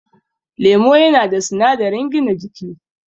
Lemo yana da sinadarin gina jiki